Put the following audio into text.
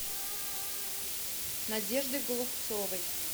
надеждой голубцовой